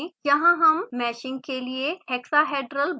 यहाँ हम मैशिंग के लिए hexa hedral blocks उपयोग कर रहे हैं